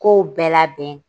Kow bɛɛ labɛn